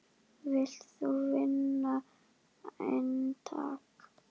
Vilt þú vinna eintak?